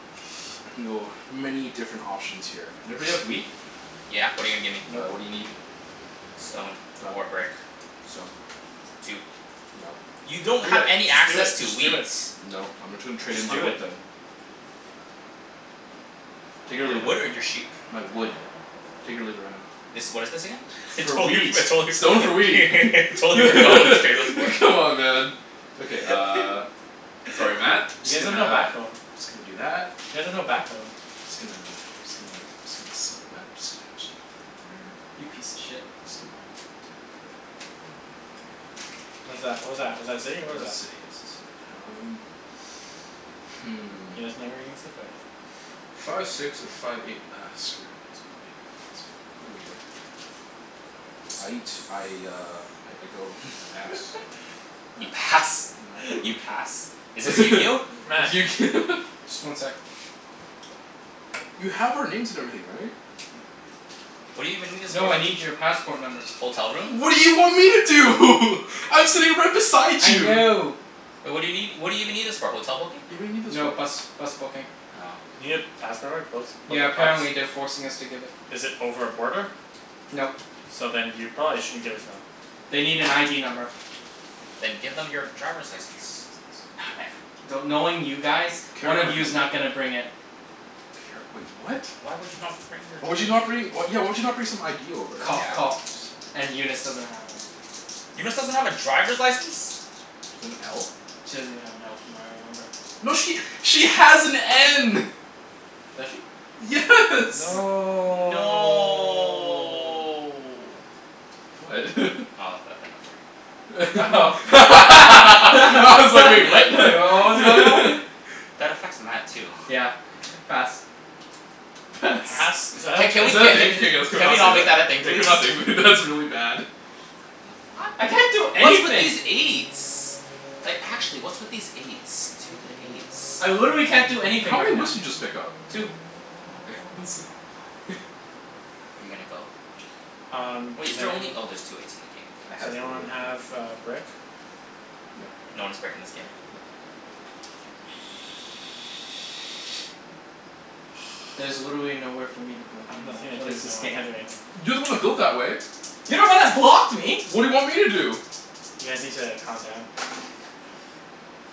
I can go many different options here. Everybody have wheat? Yeah, what're you gonna give me? Uh what do you Nope. need? Stone Done. or brick. Stone. Two. Nope. You Do it, don't have any just do it, access to just do wheat. it. Nope, I'm gonna tra- trade in Just my do wood it. then. Take it or Your leave it. wood or your sheep? My wood. Take it or leave it right now. This, what is this again? I For totally forg- wheat. Stone for wheat I totally forgot what this trade was for. Come on man. Okay uh, sorry Matt, You Just guys have gonna, no just backbone. gonna do that. You guys have no backbone. Just gonna just gonna just gonna, sorry Matt, just gonna put that right there. You piece of shit. Just gonna do it right there right there. What is that? What was that? Was that a city? What That's was a that? city, yes, a city. Um Hmm. He doesn't know where he needs to put it. Five six or five eight, ah screw it, I guess I'ma put it here. Guess I'm gonna, no big deal. Aight. I uh I go, I pass. You Matt, pass? Matt go, You pass? Is this your Matt. turn Just one sec. You have our names and everything right? What do you even need this for? No, I need your passport numbers. Hotel room? What do you want me to do? I'm sitting right beside I you. know. Wai- what do you nee- what do you even need this for? Hotel booking? Yeah, what do you need this No, for? bus bus booking. Oh. You need a passport number to book, book Yeah, a bus? apparently they're forcing us to give it. Is it over a border? Nope. So then you probably shouldn't give it to them. They need an ID number. Then give them your driver's license. Not ever- do- knowing you guys, Care one of card you's not number. gonna bring it. Care, wait what? Why would you not bring your Why would you not driver's li- bring, yeah why would you not bring some ID over? Cough Yeah. coughs and Eunice doesn't have one. Eunice doesn't have a driver's license? She doesn't have an L? She doesn't even have an L from what I remember. No she, she has an N. Does she? Yes. Hmm. No No What? Oh, that number. Oh I Like was like "wait, what?" what was going on? That affects Matt too. Yeah, pass. Pass. Pass? Is Is that a that Ca- thing? Can can we ca- we a not, can we Can not we say not make that that? a thing Yeah please? can we not? That's really bad. I can't do What's with anything. these eights? Like actually, what's with these eights? Stupid eights. I literally can't do anything How right many now. woods did you just pick up? Two. Oh okay, I was like Are you gonna go? Um, Wait, does is there only, anyone oh there's two eights in the game. I Does has the anyone have K, a brick? No. No one has brick in this game. Nope. There's literally nowhere for me to build I have anymore. nothing to What do. is No, this I game? can't do anything. You're the one that built that way. You're the one that blocked me. What do you want me to do? You guys need to calm down.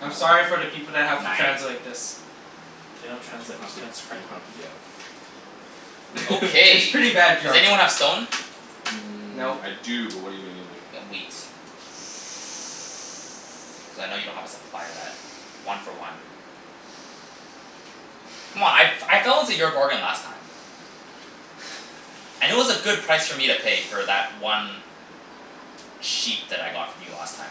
I'm sorry for the people that have to Nine? translate this. They don't You translate. don't have Just to you transcribe don't it. have to, yeah. It's Okay, pretty bad does jerk. anyone have stone? Mmm, Nope. I do but what're you gonna give me? Y- wheat. Cuz I know you don't have a supply of that. One for one. C'mon, I f- I fell into your bargain last time. And it was a good price for me to pay for that one sheep that I got from you last time.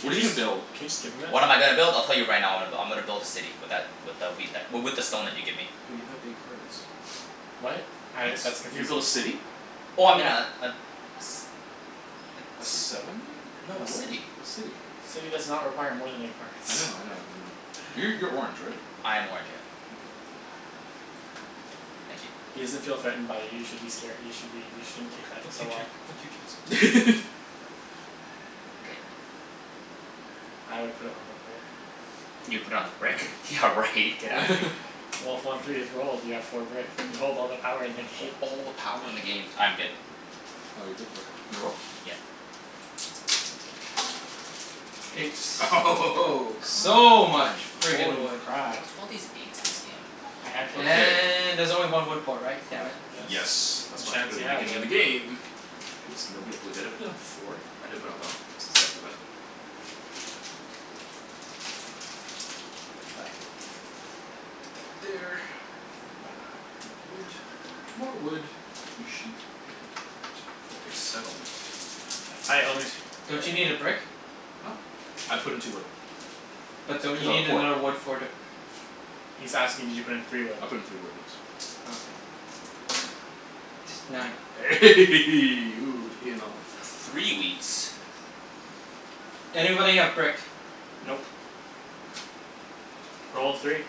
Can What are you you just, gonna build? can you just give him it? What am I gonna build? I'll tell you right now I'm go- I'm gonna build a city with that, with a wheat that w- with the stone that you give me. But you have eight cards. What? Uh that's What? You're gonna confusing. build a city? Oh I mean a Yeah. a s- A a ci- settlement? no a What? city. A city. City does not require more than eight cards I know I know I know. Uh Yeah. you're you're orange right? I am orange, yeah. Okay, I'm out. Thank you. He doesn't feel threatened by you, you should be scare- you should be, you shouldn't take that Fuck so you Chan- well. fuck you Chancey. K. I would put it on the brick. You put on the brick? Yeah right, get out of here. Well, if one three is rolled you have four brick. You hold all the power in the Hold game. all the power in the game. I'm good. Oh you're good? Okay, can I roll? Yeah. Eight. Eight Come So much on. Yeah friggin' Holy wood. crap. what's with all these eights in this game? A handshake. Okay. And there's only one wood port, right? Uh Damn it. yes, Yes and that's why I took it at Chancey the has beginning of the it. game. Because nobody, wait, did I put down four? I did put down f- sorry my bad. Um so that's that. And put that there. And then uh more wood, more wood, sheep and that for a settlement. Hi, homie. And Don't you that need a brick? Huh? I put in two wood. But don't Cuz you I have need a port. another wood for the He's asking did you put in three wood? I put in three wood, yes. Okay. Nine. Ooh, payin' off. A three wheat. Anybody have brick? Nope. Nope. Roll a three.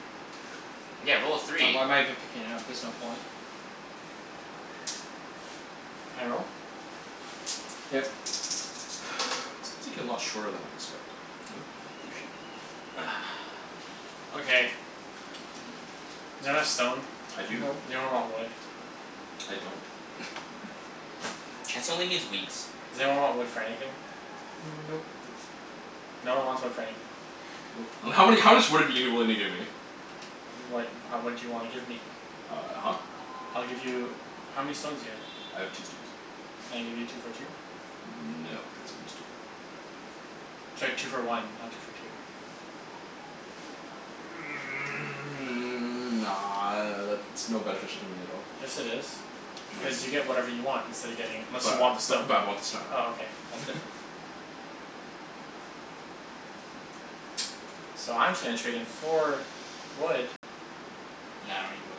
Yeah, roll a Oh, three. why am I even picking it up? There's no point. Can I roll? Yep. This game's taking a lot shorter than I expected, you know? Hey, three sheep. Okay. Does anyone have stone? I do. Nope. Does anyone want wood? I don't. Chancey only needs wheat. Does anyone want wood for anything? Nope. Nope. No one wants wood for anything. Nope. And how many, how much wood are you giving, willing to give me? What, ha- what do you wanna give me? Uh huh. I'll give you, how many stones do you have? I have two stones. Can I give you two for two? No, because I just did that. Sorry, two for one, not two for two. Nah, that's no beneficial to me at all. Yes it is, No cuz you get dude. whatever you want instead of getting it, unless you But uh want the stone. bu- but I want the stone Oh okay, that's different. So I'm just gonna trade in four wood No, I don't need wood.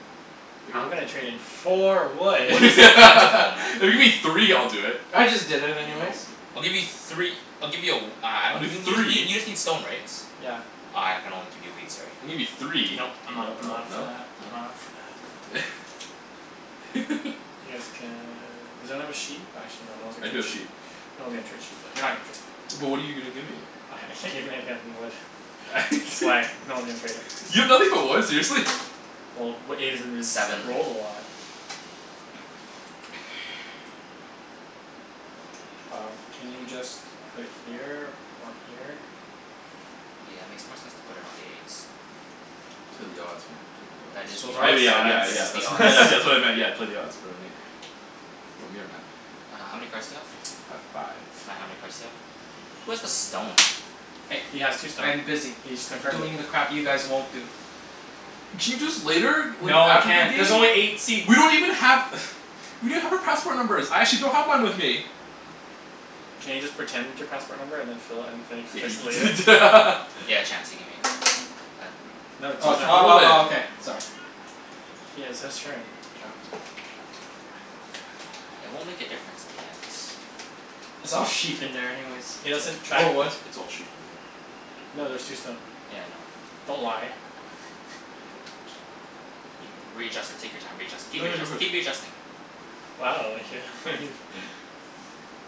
If you're I'm go- gonna trade in four wood. Wood If is so plentiful man. you give me three I'll do it. I just did it anyways. Nope. I'll give you three I'll give you a w- uh I I'll don- do y- you just need, three. you just need stone right? Yeah. Uh I can only give you wheat, sorry. Gimme three. No Nope. I'm not, no I'm not up for no that, I'm no. not up for that. Yes can, does anyone have a sheep? Actually no, no one's I gonna do trade have sheep. sheep. No one's gonna trade sheep though, you're not gonna trade. But what're you gonna give me? I can't give you anything other than wood. That's why no one's gonna trade it. You have nothing but wood, seriously? Well, w- eight has been ris- Seven. Seven rolled a lot. Um, can you just put it here or here? Yeah, makes more sense to put it on the eight. Play the odds man, play the odds. That is the So those are I odds. mea- the yeah Yeah, yeah that is yeah, the that's odds. wha- odds. that's what I meant, yeah, play the odds, put it on eight. Want me or Matt? Uh how many cards do you have? I have five. Matt, how many cards do you have? Who has the stone? Hey, He has two stone. I'm busy He just confirmed it. doing the crap you guys won't do. Can you do this later? W- No, I after the can't. game? There's only eight seats. We don't even have We don't have our passport numbers. I actually don't have mine with me. Can you just pretend your passport number and then just fill it, and fill, Yeah can fix it later? you prete- Yeah, Chancey, give me a card. Uh No Uh t- Why he's oh would you not. roll oh it? oh okay, sorry. He has his turn. It won't make a difference in the end. It's all sheep in there anyways. He It's like, doesn't it's track Or wood. it's it's all sheep in there. No there's two stone. Yeah, I know. Don't lie. No I'm just You can, readjust it, take your time readjust- keep readjust- keep readjusting. Wow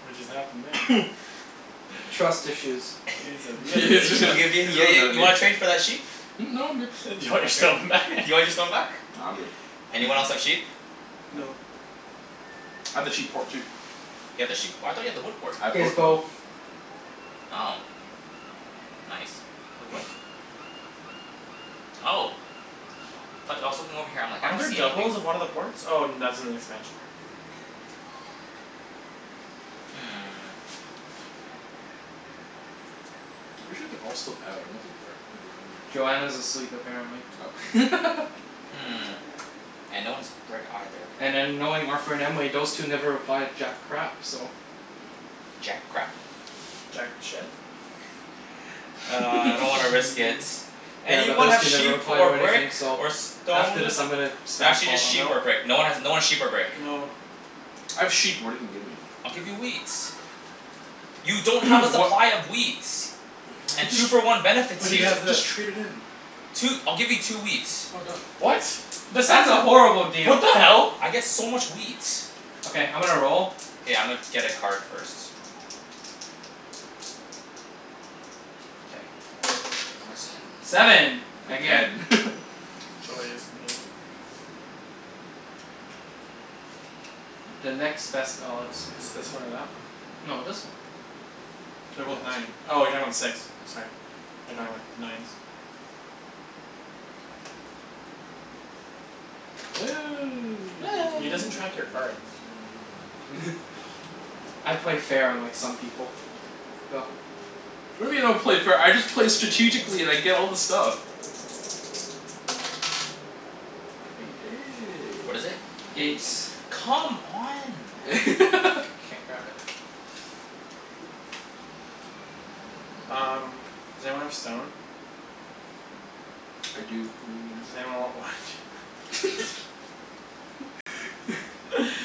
What just happened there? Trust issues. You guys have, you guys Yeah have he's issues. I'll really, give in he's yeah really yeah mad at you me. wanna trade for that sheep? Hmm? No, I'm good. You You want wanna your trade? stone back? You wanna get stone back? Nah, I'm good. Anyone else have sheep? No. No. I have the sheep port too. You have the sheep p- I thought you had the wood port? I have He has both both. now. Oh nice. Wait what? Oh. Aw but I was looking over here I'm like "I Aren't don't there see anything." doubles of one of the ports? Oh that's in the expansion. Hmm. I'm pretty sure they're all still out. I don't think they're gonna be home right now. Joanna's asleep apparently. Oh Hmm, and no one has brick either. And then knowing Arthur and Emily, those two never reply to jack crap so. Jack crap. Jack shit? Uh I don't wanna risk it. Yeah, but Anyone those have two never sheep reply or to brick anything so or after this stone? I'm gonna N- spam actually call just them. sheep or Nope. brick. No one has, no one's sheep or brick. No. I have sheep, but what're you gonna give me? I'll give you wheat. You don't have a Wha- supply of wheat. I could And just, two for one benefits I But he could you. jus- has this. just trade it in. Two, I'll give you two wheat. Oh done. What? That's not That's a eno- horrible What deal. the hell? I get so much wheat. Okay, I'm gonna roll. K, I'ma get a card first. K. Fours in. Seven, again. Again Joy is me. The next best odds. It's this one or that one. No, this one. They're The both last nine. turn. Oh you're talking about the six, sorry. Thought you're talking about the nines. He doesn't track your cards. I play fair, unlike some people. Go. What do you mean I don't play fair? I just play strategically and I get all the stuff. What is it? Eight. Eight. Come on, man. Can't grab it. Um, does anyone have stone? I do, what are you gonna give Does me? anyone want wood?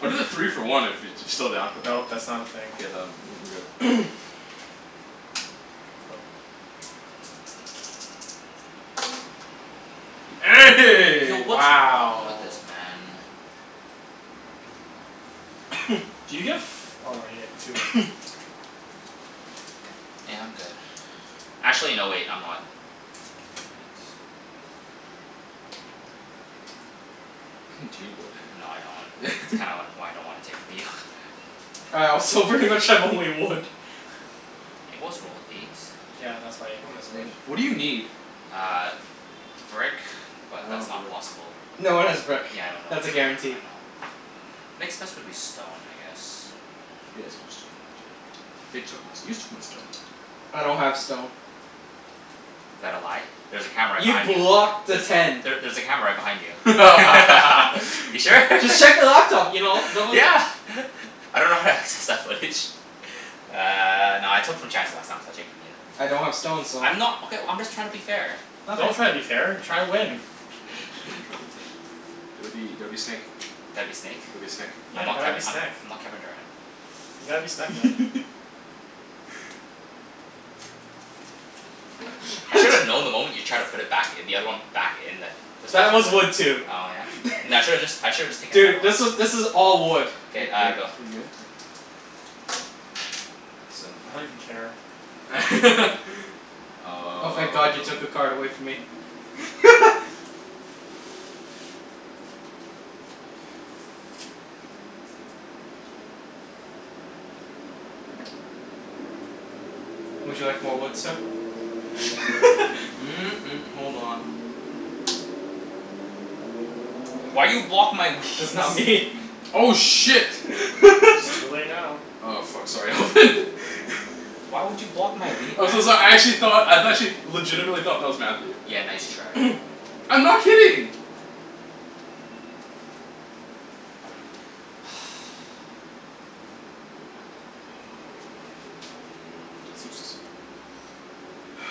I'll do the three for one if you're still down for that. Nope, that's not a thing. K, then I'm good. Go for it. Yo, The what's wrong Wow. with this man? Do you get f- oh you get two wood. Yeah, I'm good. Actually no wait, I'm not. Knight. Do Huh. you need wood? No I don't. Kinda why I don't wanna take from you. All right, so pretty much I have only wood. It was rolled, eight. Yeah, that's Well, why everyone has it's wood. eight. What do you need? Uh brick, but I don't that's have not brick. possible with, No one has brick. yeah I know no That's one a has, guarantee. I know. Next best would be stone, I guess. He has more stone than I do. They took my st- you took my stone. I don't have stone. Is that a lie? There's a camera right You behind you. blocked the There's, ten. there there's a camera right behind you. You sure? Just check the laptop you know? Don't beli- Yeah I dunno how to access that footage. Uh no I took from Chancey last time so I'll take from you. I don't have stone so I'm not, okay well I'm just tryin' to be fair. Don't Okay. try to be fair. Try to win Gotta be, gotta be snake. Gotta be snake? Gotta be a snek. Yeah, I'm not gotta be Kevi- I'm snek. not Kevin Durant. You gotta be snek man. I should have known the moment you tried to put it back i- the other one back in that This That was was a whiff. wood too. Oh yeah? N- I shoulda just I should've just taken another Dude, one. this was this is all wood. Are K, you are uh you go. are you good? Okay. Seven. I don't even care. Oh thank god you took a Um card away from me. Would you like more wood, sir? hold on. Why you block my That's not wheat? me. Oh shit. It's too late now. Oh fuck, sorry Alvin. Why would you block my wheat, man? I'm so so- I actually thought, I actually legitimately thought that was Matthew. Yeah, nice try. I'm not kidding. That's useless.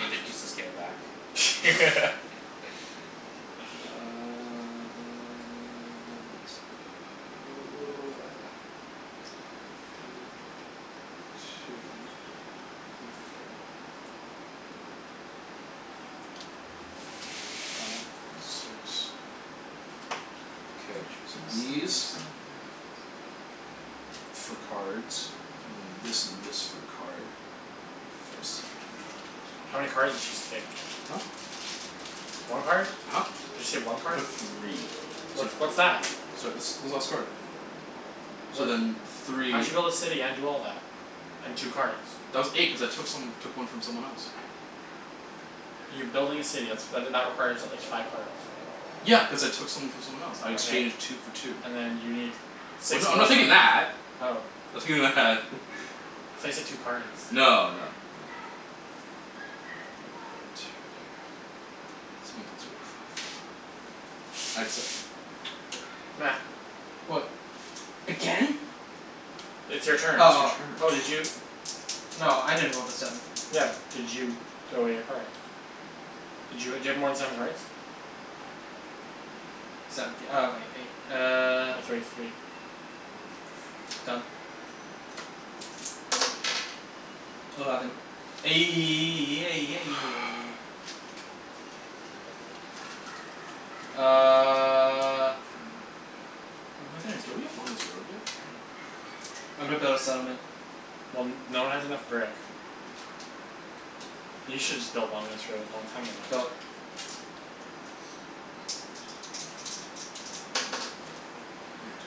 If it's useless give it back. Uh let's go One two three four Five six, K, these for cards and then this and this for a card. For a city. How many cards did you just take? Huh? One card? Huh? You just take one I card? took three What so what's that? So this this last card. So What then di- , how'd you three build a city and do all that? And two cards? That was eight, cuz I took some, took one from someone else. You're building a city. That's that that requires at least five cards. Yeah, cuz I took some from someone else. I Okay, exchanged two for two. and then you need Well six no, I'm more not thinking cards. that. Oh. I'm thinking that. I thought you said two cards. No no no. I will put it right here. Someone please roll a five. I'd suck. Oh well. Matt. What? Again? It's your turn. Oh It's your oh. turn Oh did you No, I didn't roll the seven. Yeah, but did you throw away your cards? Did you ha- do you have more than seven cards? Seventh th- oh wai- eight. Uh throw away three One. Done. Eleven. Fu- Uh What am I gonna do? Don't we have longest road yet? Damn. I'm gonna build a settlement. Well n- no one has enough brick. You shoulda just built longest road long time ago. Go.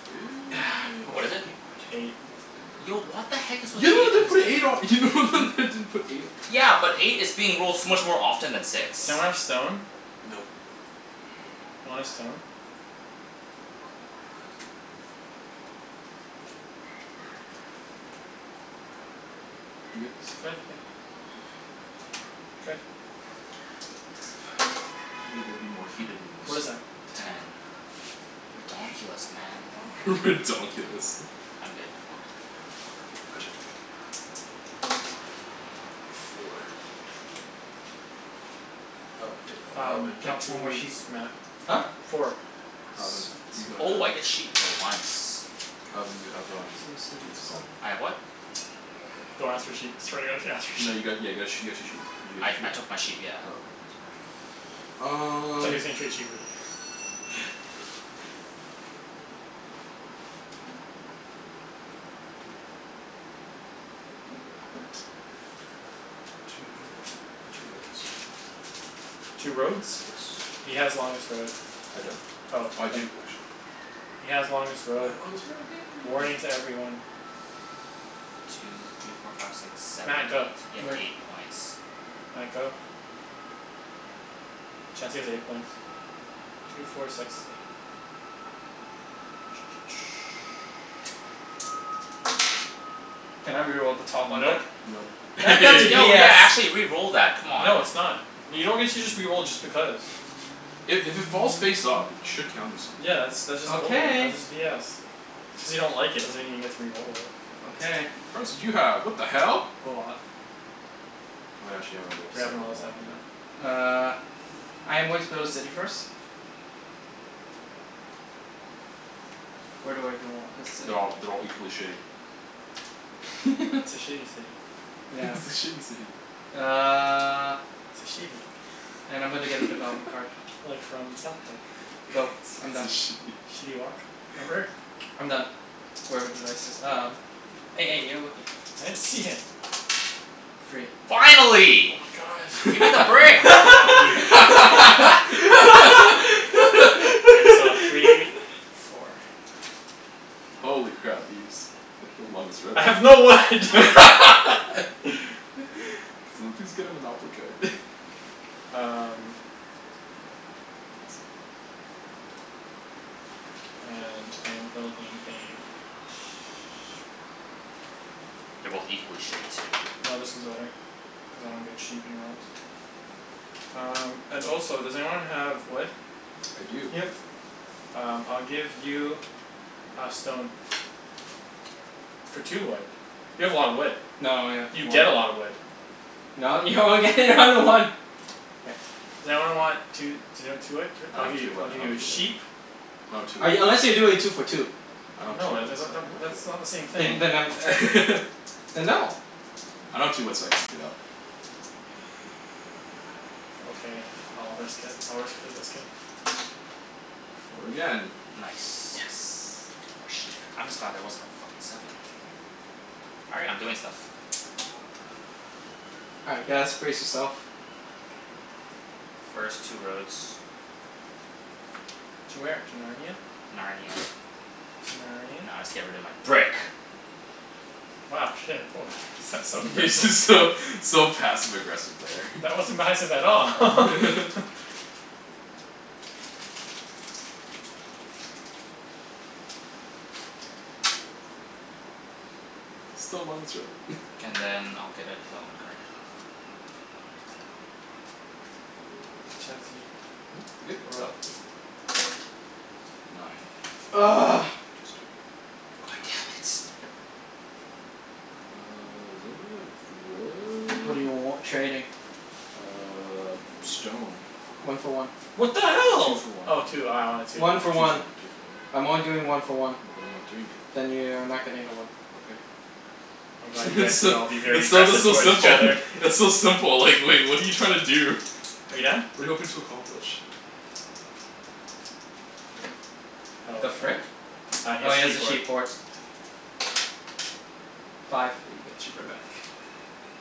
Eight More What is it? fucking wood. Eight. Mo- fucking Yo road. what the heck is You're with the one that eight in didn't put this an eight on, you're the only one game? that didn't put an eight on. Yeah, but eight is being rolled so much more often than six. Does anyone have stone? Nope Want a stone? You good? Good. Figured it'd be more heated than What is this. that? Ten. Ten. Ridonkulus man. Ridonkulus. I'm good. K, my turn. Four. Oh hey uh Um Alvin. get No, two one more woods, sheep. Matt. Huh? Four? Four. Alvin, Sweet. you got uh Oh I get sheep for once. Alvin you have um what's it called I have what? Don't ask for uh sheep. I swear to god if you ask for No you sheep. got, yeah got a you got two sheep. Did you get I two sheep? I took my sheep, yeah. Oh okay, just making sure. Um Thought he was gonna trade sheep with you Two for two roads. Two roads? Yes. He has longest road. I don't. Oh Oh I then do, actually. He has longest road. I have longest road, yay! Warning to everyone. Two three four five six seven Matt, eight, go. you have Wait. eight points. Matt, go. Chancey has eight points. Two four six eight. Can I re-roll the top one Nope. then? Nope That that's Yo yeah, BS. actually re-roll that, come on. No it's not. You don't get to just re-roll just because. I- if it falls face up it should count as something. Yeah that's, that's just balder- Okay. that's just BS. Just because you don't like it doesn't mean you get to re-roll it. Okay. How many cards did you have? What the hell? A lot. Oh yeah, actually haven't rolled We haven't seven in rolled a a while, seven, yeah. no. Uh I am going to build a city first. Where do I even want this city? They're all, they're all equally shitty. It's a shitty city. It's a Yes. shitty city. Uh It's a shitty And I'm gonna get a development card. Like from South Park. Go, I'm It's a done. shitty. Shitty Wok? Remember? I'm done, wherever the dice is. Um. You're looking. I didn't see it. Three. Finally. Oh my god. Gimme I the know. brick. I'm so happy. Wait, so three, four. Holy crap, Ibs. Way to build longest road. I Can have no wood. someone please get a monopoly card? Um Okay, clean this up. And I am building a sh- They're both equally shitty too. No, this one's better, cuz I don't get sheep anywhere else. Um and also does anyone have wood? I do. Yep. Um I'll give you a stone. For two wood. You have a lot of wood. No, I have You four. get a lotta wood. No, you only get one to one. K. Does anyone want two I I'll don't give have you, two I'll wood, I give you don't have a two wood. sheep. No two I, wood. unless you're doing two for two. I don't have two No, uh wood the the so I the can't w- help that's you not out. the same Then thing. y- then um Then no. I don't have two wood so I can't help you out. Okay, I'll risk it. I'll risk it for the biscuit. Four again. Yes. Nice. More sheep. I'm just glad that wasn't a fuckin' seven. All right, I'm doing stuff. All right guys, brace yourself. First two roads. To where? To Narnia? Narnia. To Narnia? Now I'll just get rid of my brick. Wow shit, woah that's so Yeah aggressive. just so so passive aggressive there. That wasn't passive at all. Still longest road And then I'll get a development card. Chancey, Mhm? Good? Go. roll. Nine. God damn it. Uh does anybody have What do you w- wood? trading? Uh stone. One for one. What the Two hell? for one. Oh two, oh I wanted two, my One for bad. Two for one, one. two for one. I'm only doing one for one. Then I'm not doing it. Then you are not getting the wood. Okay. I'm glad you guys It's can still, all be very it's so aggressive though towards each simple. other. It's so simple like like what're you trying to do? Are you done? What're you hoping to accomplish? Oh The okay. frick? Uh he Oh has he has a sheep sheep port. port. Oh Five. got the sheep right back.